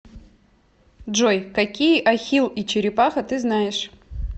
джой какие ахилл и черепаха ты знаешь